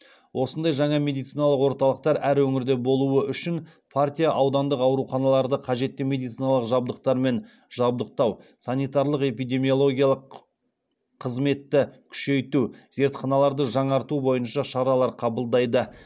осындай жаңа медициналық орталықтар әр өңірде болуы үшін партия аудандық ауруханаларды қажетті медициналық жабдықтармен жабдықтау санитарлық эпидемиологиялық қызметті күшейту зертханаларды жаңарту бойынша шаралар қабылдайды